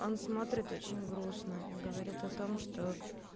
он смотрит очень грустно и говорит о том что